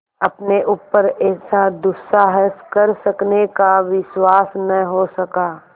अपने ऊपर ऐसा दुस्साहस कर सकने का विश्वास न हो सका